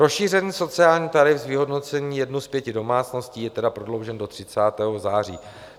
Rozšířený sociální tarif z vyhodnocení jednu z pěti domácností je tedy prodloužen do 30. září.